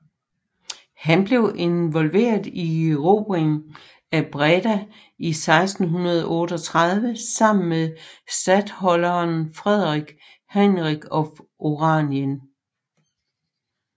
Han var involveret i erobringen af Breda i 1638 sammen med statholderen Frederik Henrik af Oranien